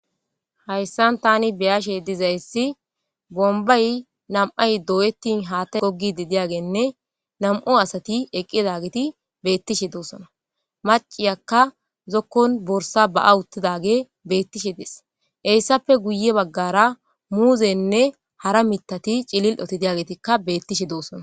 Hayssan thaani be7ashe dizayssi bombbay nam7ay dooyeththin haaththay goggiidde diyaageenne nam7u asathi eqqidageethi beeththishe doosona; macciyaakka zokkon borssaa ba7a uththidaagee beeththishe des; heyssape guye baggaara muuzeenne hara miththathi cilil7othi diyaageethikka beeththishe doosona.